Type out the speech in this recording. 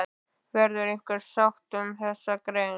Verður einhver sátt um þessa grein?